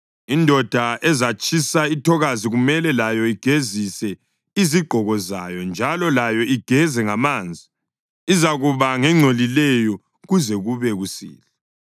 Indoda ezatshisa ithokazi kumele layo igezise izigqoko zayo njalo layo igeze ngamanzi, izakuba ngengcolileyo kuze kube kusihlwa.